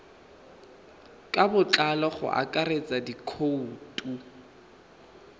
ka botlalo go akaretsa dikhoutu